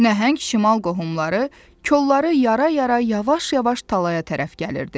Nəhəng şimal qohumları kollar yara-yara yavaş-yavaş talaya tərəf gəlirdi.